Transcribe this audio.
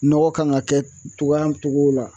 Nɔgɔ kan ka kɛ cogoya cogo la